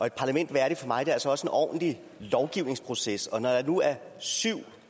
et parlament værdigt for mig er altså også en ordentlig lovgivningsproces og når der nu er syv